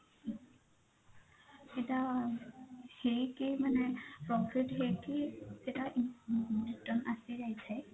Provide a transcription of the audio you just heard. ଏଇଟା ହେଇକି ମାନେ profit ହେଇକି ସେଟା return ଆସି ଯାଇଥାଏ।